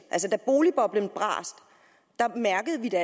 altså da boligboblen brast mærkede vi det